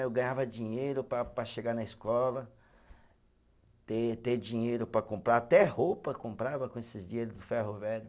Aí eu ganhava dinheiro para para chegar na escola, ter ter dinheiro para comprar, até roupa comprava com esses dinheiro do ferro velho.